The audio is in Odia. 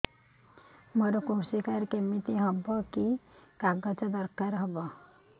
ମୋର କୃଷି କାର୍ଡ କିମିତି ହବ କି କି କାଗଜ ଦରକାର ହବ